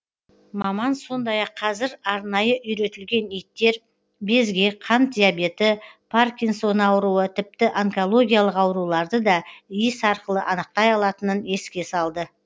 маман сондай ақ қазір арнайы үйретілген иттер безгек қант диабеті паркинсон ауруы тіпті онкологиялық ауруларды да иіс арқылы анықтай алатынын еске салды